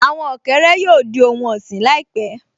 Àwọn ọ̀kẹ́rẹ́ yóò di ohun ọ̀sìn láìpẹ́